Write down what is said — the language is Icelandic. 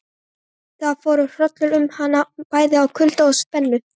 Það fór hrollur um hana bæði af kulda og spennu.